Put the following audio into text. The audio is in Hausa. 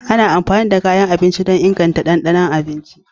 Ana amfani da kayan abinci don inganta ɗanɗanon abinci.